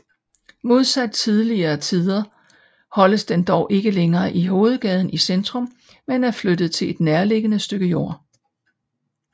Modsat tidligere tider holdes den dog ikke længere i hovedgaden i centrum men er flyttet til et nærliggende stykke jord